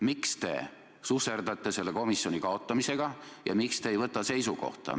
Miks te susserdate selle komisjoni kaotamisega ja miks te ei võta seisukohta?